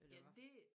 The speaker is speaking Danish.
Eller hvad